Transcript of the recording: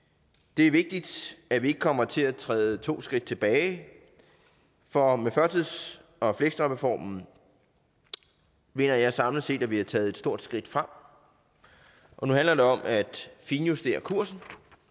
det er vigtigt at vi ikke kommer til at træde to skridt tilbage for med førtids og fleksjobreformen mener jeg samlet set at vi har taget et stort skridt frem og nu handler det om at finjustere kursen